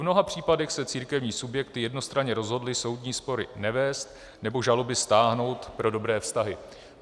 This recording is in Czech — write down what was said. V mnoha případech se církevní subjekty jednostranně rozhodly soudní spory nevést nebo žaloby stáhnout pro dobré vztahy.